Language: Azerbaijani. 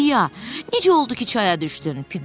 İa, necə oldu ki, çaya düşdün?